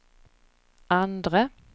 andre